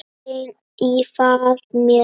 græn í faðmi sér.